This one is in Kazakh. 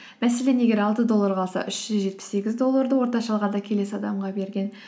мәселен егер алты доллар қалса үш жүз жетпіс сегіз долларды орташа алғанда келесі адамға берген